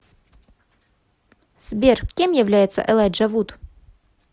сбер кем является элайджа вуд